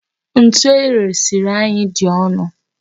Ntu eresiri anyị dị ọnụ.